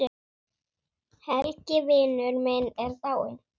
Helgi vinur minn er dáinn.